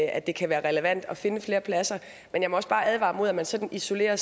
at det kan være relevant at finde flere pladser men jeg må også bare advare imod at man sådan isolerer